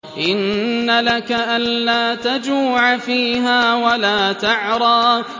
إِنَّ لَكَ أَلَّا تَجُوعَ فِيهَا وَلَا تَعْرَىٰ